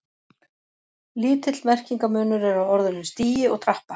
Lítill merkingarmunur er á orðunum stigi og trappa.